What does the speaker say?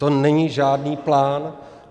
To není žádný plán.